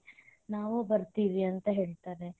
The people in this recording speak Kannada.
ನಾವು ಬರತೇವಿ ಅಂತ ಹೇಳತಾರೆ.